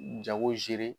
Jago